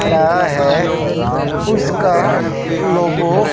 रहा है उसका लोगो --